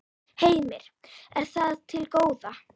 Heimir: Er það til góða?